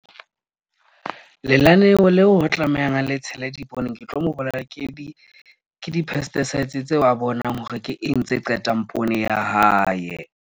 Lenaneo leo ho tlamehang a le tshela ke di-pesticides tseo a bonang hore ke eng tse qetang poone ya hae.